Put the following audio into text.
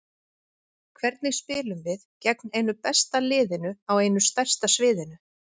Hvernig spilum við gegn einu besta liðinu á einu stærsta sviðinu?